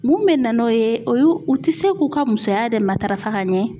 Mun bɛ na n'o ye o ye u tɛ se k'u ka musoya yɛrɛ matarafa ka ɲɛ.